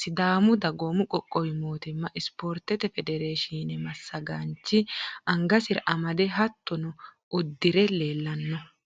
sidaamu dagoomi qoqqowi mootimma spoorte federeeshine massagaanchi angasira amade hattono uddire leellanno.